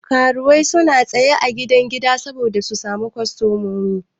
Karuwai suna tsaya a gidan gida saboda su samu kostomomi.